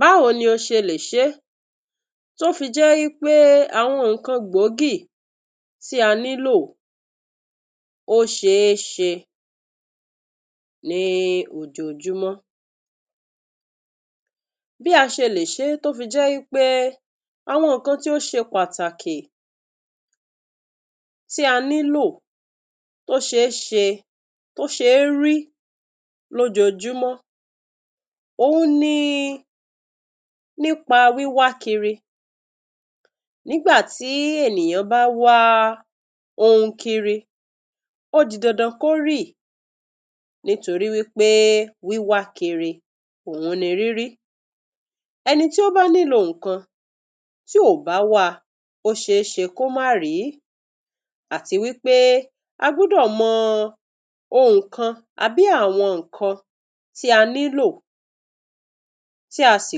Báwo ni o ṣe lè ṣe é tí ó fi jẹ́ wí pé àwọn nǹkan gbòógì tí a nílò ó ṣe é ṣe ní ojoojúmọ́. Bí a ṣe lè ṣe é tó fi jẹ́ pé àwọn nǹkan tó ṣe pàtàkì tí a nílò, tó ṣe é ṣe, ó ṣe é rí lójoojúmọ́ òhun ni nípa wíwá kiri. Nígbà tí ènìyàn bá wá ohun kiri, ó di dandan kó ríì nítorí wí pé wíwá kiri òhun ni rírí. Ẹni tí ó bá nílò ohun kan, tí ò bá wá a, ó ṣe é ṣe kó má rí. Àti wí pé a gbúdọ̀ mọ ohun kan, tàbí àwọn nǹkan tí a nílò, tí a sì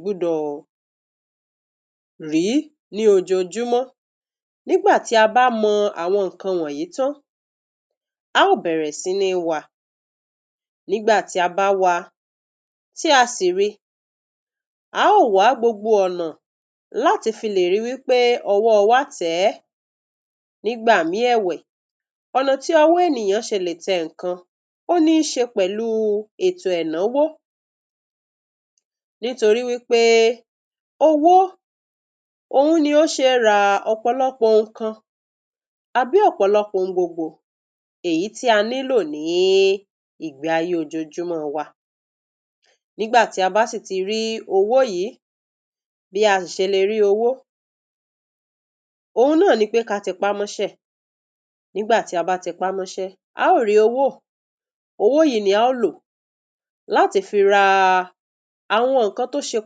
gbudọ̀ rí ní ojoojúmọ́. Nígbà tí a bá mọ àwọn nǹkan wọ̀nyìí tán, a ó bẹ̀rẹ̀ sí ní wá a. Nígbà tí a bá wá a, tí a sì rí i, a ó wá gbogbo ọ̀nà láti fi lè rí i wí pé ọwọ́ wa tẹ̀ ẹ́. Nígbà míì ẹ̀wẹ̀, ọ̀nà tí ọwọ́ ènìyàn ṣe lè tẹ nǹkan ó níí ṣe pẹ̀lú ètò ẹ̀náwó nítorí wí pé owó òhun ni ó ṣe é ra ṣe é ra ṣe é ra ọ̀pọ̀lọpọ̀ ohun kan àbí ọ̀pọ̀lọpọ̀ ohun gbogbo èyí tí a nílò ní ìgbé ayé ojoojúmọ́ wa. Nígbà tí a bá sì ti rí owó yìí, bí a sì ṣe le rí owó òhun náà ni pé ká tẹpámọ́ṣẹ́. Nígbà tí a bá tẹpámọ́ṣẹ́, a ó rí owó. Owó yìí ni a ó lò láti fi ra àwọn nǹkan tó ṣe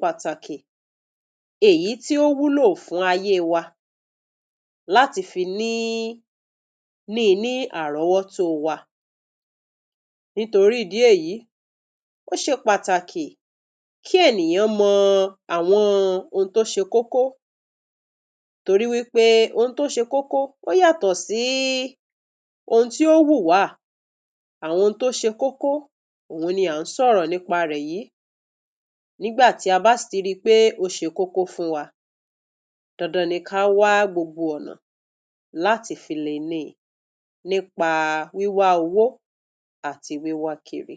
pàtàkì èyí tí ó wúlò fún ayé wa láti fi ní, níi ní àrọ́wọ́tó wa. Nítorí ìdí èyí, ó ṣe pàtàkì kí ènìyàn mọ àwọn ohun tó ṣe kókó torí wí pé ohun tó ṣe kókó ó yàtọ̀ sí ohun tí ó wù wá. Àwọn phun tí ó ṣe kókó òhun ni à ń sọ̀rọ̀ nípa rẹ̀ yìí. Nígbà tí a bá sì ti ríi pé ó ṣe kókó fún wa, dandan ni ká wá gbogbo ọ̀nà láti fi le ní i, nípa wíwá owó àti wíwá kiri.